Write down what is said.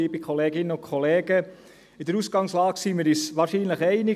In der Ausgangslage sind wir uns wahrscheinlich einig: